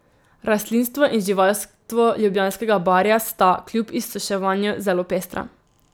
Rastlinstvo in živalstvo Ljubljanskega barja sta, kljub izsuševanju, zelo pestra.